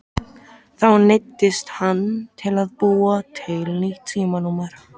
Þá neyddist hann til að búa til nýtt símanúmer.